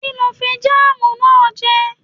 Kí ló fi jáàmù náà jẹ?